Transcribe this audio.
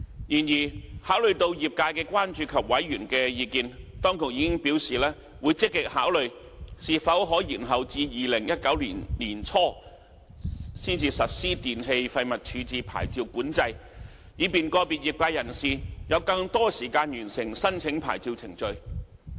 然而，考慮到業界的關注及委員的意見，當局已表示會積極考慮是否可延後至2019年年初才實施電器廢物處置牌照管制，以便個別業界人士有更多時間完成申請牌照程序。